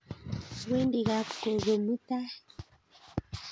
Awendi kap gogo mutai